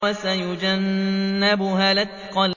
وَسَيُجَنَّبُهَا الْأَتْقَى